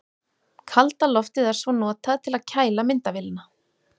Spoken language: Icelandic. Kalda loftið er svo notað til að kæla myndavélina.